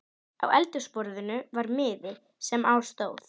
Á eldhúsborðinu var miði, sem á stóð